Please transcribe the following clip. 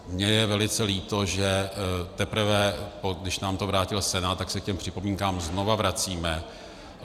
Mně je velice líto, že teprve když nám to vrátil Senát, tak se k těm připomínkám znova vracíme.